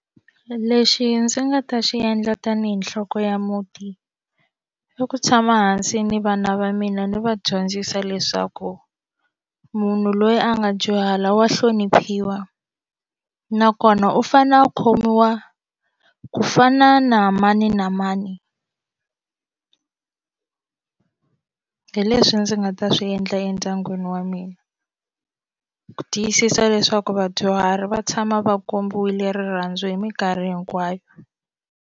Lexi ndzi nga ta xi endla tanihi nhloko ya muti i ku tshama hansi ni vana va mina ndzi va dyondzisa leswaku munhu loyi a nga dyuhala wa hloniphiwa nakona u fanele u khomiwa ku fana na mani na mani hi leswi ndzi nga ta swi endla endyangwini wa mina ku tiyisisa leswaku vadyuhari va tshama va kombiwile rirhandzu hi minkarhi hinkwayo.